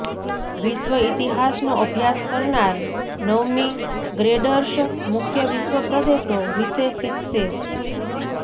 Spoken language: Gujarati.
વિશ્વ ઇતિહાસનો અભ્યાસ કરનાર નવમી ગ્રેડર્સ મુખ્ય વિશ્વ પ્રદેશો વિશે શીખશે